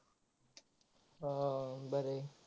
हा हा हा बर आहे.